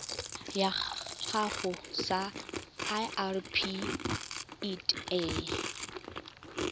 gago sa irp it a